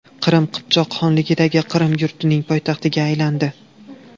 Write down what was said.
Qrim – Qipchoq xonligidagi Qrim yurtining poytaxtiga aylandi.